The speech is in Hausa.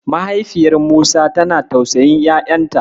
Mahaifiyar Musa tana tausayin ƴaƴanta.